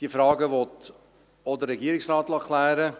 Diese Fragen will auch der Regierungsrat klären lassen.